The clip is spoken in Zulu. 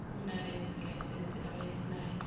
kunalezo zelayisense abayifunayo